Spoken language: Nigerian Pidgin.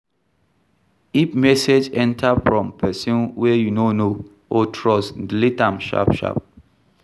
If message enter from person wey you no know or trust delete am sharp sharp